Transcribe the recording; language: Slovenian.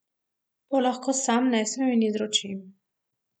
To lahko sam nesem in izročim.